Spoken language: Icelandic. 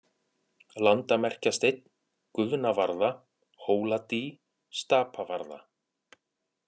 Landamerkjasteinn, Guðnavarða, Hóladý, Stapavarða